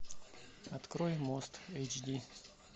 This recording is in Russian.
открой мост эйч ди